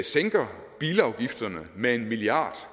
sænker bilafgifterne med en milliard